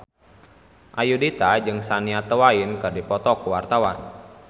Ayudhita jeung Shania Twain keur dipoto ku wartawan